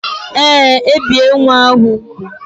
Ee, ebie nwa ahụ úgwù